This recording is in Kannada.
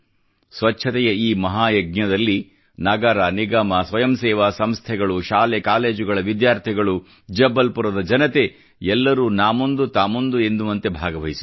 ಸ್ವಚ್ಛತೆಯ ಈ ಮಹಾ ಯಜ್ಞದಲ್ಲಿ ನಗರ ನಿಗಮ ಸ್ವಯಂ ಸೇವಾ ಸಂಸ್ಥೆಗಳು ಶಾಲೆ ಕಾಲೇಜುಗಳ ವಿದ್ಯಾರ್ಥಿಗಳು ಜಬ್ಬಲ್ಪು ರದ ಜನತೆ ಎಲ್ಲರೂ ನಾ ಮುಂದು ತಾ ಮುಂದು ಎನ್ನುವಂತೆ ಭಾಗವಹಿಸಿದರು